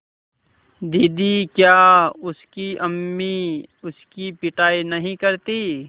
दीदी क्या उसकी अम्मी उसकी पिटाई नहीं करतीं